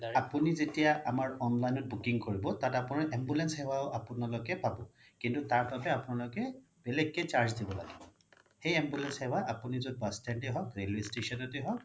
আপোনি যেতিয়া আমাৰ online ত booking কৰিব তাত ambulance সেৱাও আপোনালোকে পাব কিন্তু তাৰ বাবে আপোনালোকে বেলেগকে charge দিব লাগিব সেই ambulance সেৱা আপোনি য'ত bus stand য়ে হওক railway station য়ে হওক